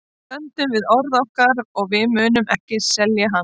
Við stöndum við orð okkar og við munum ekki selja hann.